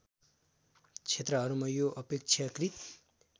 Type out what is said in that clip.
क्षेत्रहरूमा यो अपेक्षाकृत